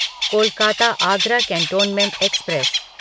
Kolkata Agra cantonment express